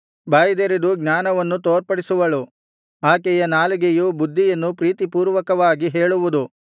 ಬಾಯಿದೆರೆದು ಜ್ಞಾನವನ್ನು ತೋರ್ಪಡಿಸುವಳು ಆಕೆಯ ನಾಲಿಗೆಯು ಬುದ್ಧಿಯನ್ನು ಪ್ರೀತಿಪೂರ್ವಕವಾಗಿ ಹೇಳುವುದು